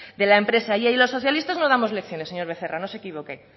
de la empresa y los socialistas no damos lecciones señor becerra no se equivoque